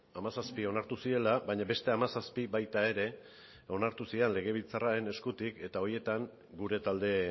hamazazpi onartu zirela baina beste hamazazpi baita ere onartu ziren legebiltzarraren eskutik eta horietan gure talde